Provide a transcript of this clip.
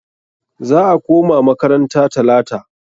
Za a koma makaranta talata.